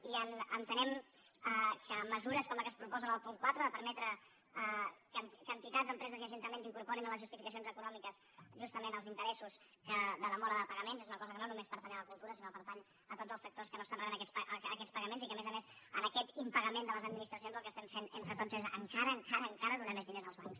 i entenem que mesures com les que es proposen en el punt quatre de permetre que entitats empreses i ajuntaments incorporin en les justificacions econòmiques justament els interessos de demora de pagaments és una cosa que no només pertany a la cultura sinó que pertany a tots els sectors que no estan rebent aquests pagaments i que a més a més en aquest impagament de les administracions el que estem fent entre tots és encara encara encara donar més diners als bancs